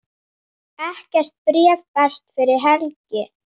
Ekkert bréf berst fyrir helgi.